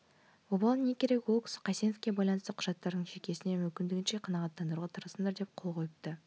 обалы не керек ол кісі қайсеновке байланысты құжаттардың шекесіне мүмкіндігінше қанағаттандыруға тырысыңдар деп қол қойыпты